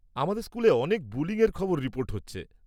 -আমাদের স্কুলে অনেক বুলিং-এর খবর রিপোর্ট হচ্ছে।